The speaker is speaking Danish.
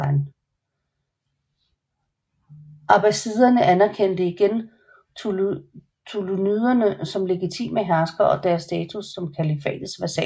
Abbasiderne anerkendte igen ṭūlūniderne som legitime herskere og deres status som kalifatets vasaller